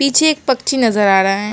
पीछे एक पक्षी नज़र आ रहा है।